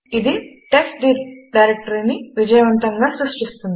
ఇది టెస్ట్డిర్ డైరెక్టరీని విజయవంతంగా సృష్టిస్తుంది